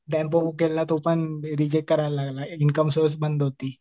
Tempo book केलेला तोपण reject करायला लागला. इनकम सुद्धा बंद होती.